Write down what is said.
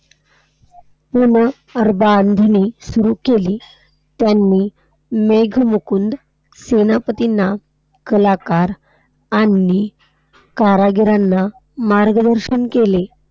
पुनर्बांधणी सुरु केली. त्यांनी मेघमुकुंद सेनापतींना, कलाकार आणि कारागिरांना मार्गदर्शन केले.